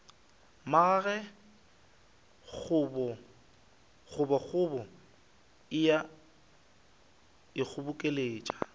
magage kgobokgobo e a ikgobokeletša